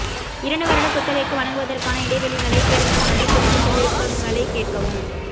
இரண்டு வருட குத்தகைக்கு வழங்குவதற்கான இடைவெளிகளைத் தேடுங்கள் மற்றும் புதுப்பித்தல் விருப்பங்களைக் கேட்கவும்